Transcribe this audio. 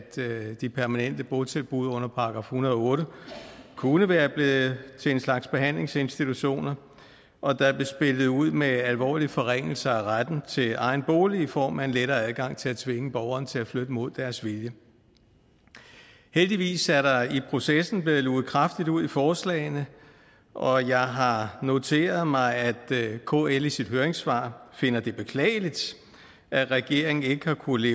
de permanente botilbud under § en hundrede og otte kunne være blevet til en slags behandlingsinstitutioner og der blev spillet ud med alvorlige forringelser af retten til egen bolig i form af en lettere adgang til at tvinge borgerne til at flytte mod deres vilje heldigvis er der i processen blevet luget kraftigt ud i forslagene og jeg har noteret mig at kl i sit høringssvar finder det beklageligt at regeringen ikke har kunnet